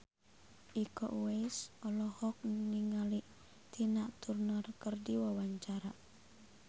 Iko Uwais olohok ningali Tina Turner keur diwawancara